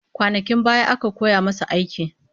Kwanakin baya aka koya masa aiki